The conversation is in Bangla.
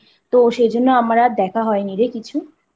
তো সেজন্য আমার আর দেখা হয় নি রে কিছু।